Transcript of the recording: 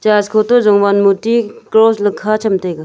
Church khow te jongvan murti cross le kha tham taiga.